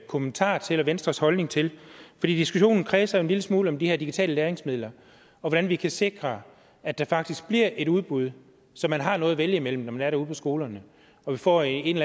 kommentar til og venstres holdning til for diskussionen kredser jo en lille smule om de her digitale læringsmidler og hvordan vi kan sikre at der faktisk bliver et udbud så man har noget at vælge imellem når man er derude på skolerne og vi får en